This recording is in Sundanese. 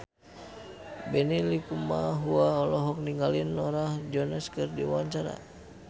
Benny Likumahua olohok ningali Norah Jones keur diwawancara